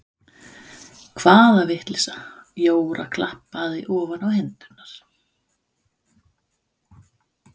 Hvaða vitleysa Jóra klappaði ofan á hendurnar.